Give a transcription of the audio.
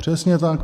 Přesně tak.